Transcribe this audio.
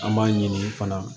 An b'a ɲini fana